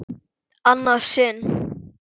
Annað sinn?